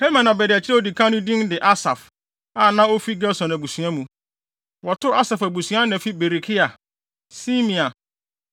Herman abediakyiri a odi kan no din de Asaf, a na ofi Gerson abusua mu. Wɔto Asaf abusua ana fi Berekia, Simea,